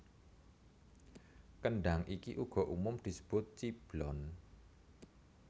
Kendhang iki uga umum disebut ciblon